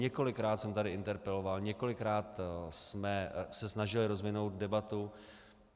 Několikrát jsem tady interpeloval, několikrát jsme se snažili rozvinout debatu.